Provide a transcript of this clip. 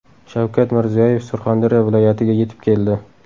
Shavkat Mirziyoyev Surxondaryo viloyatiga yetib keldi.